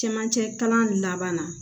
Camancɛ kalan laban na